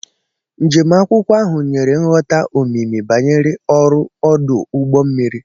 Njem akwụkwọ ahụ nyere nghọta omimi banyere ọrụ ọdụ ụgbọ mmiri.